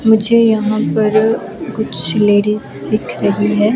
मुझे यहाँ पर कुछ लेडिज दिख रहीं हैं।